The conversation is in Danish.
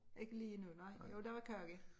Ikke lige nu nej jo der var kage